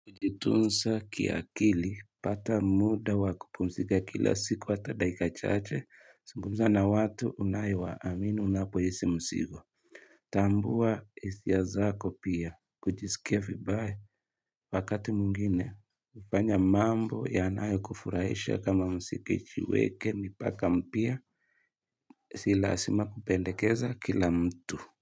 Kujitunsa kiakili pata muda wakupumzika kila siku hata dakika chache Singumza na watu unayewaamini unapo isi msigo Tambua isia zako pia kujisikia vibaya wakati mungine hufanya mambo yanayo kufurahisha kama msikichiweke mipaka mpya Si laasima kupendekeza kila mtu.